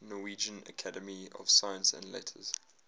norwegian academy of science and letters